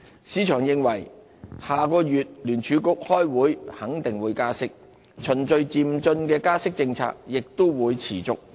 市場認為下月聯儲局開會肯定會加息，循序漸進加息的政策亦會持續。